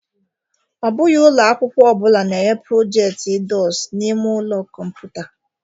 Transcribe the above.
Ọ bụghị ụlọ akwụkwọ ọ bụla na-enye project_idors n'ime ụlọ kọmputa.